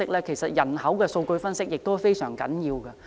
其實，人口的數據分析也非常重要。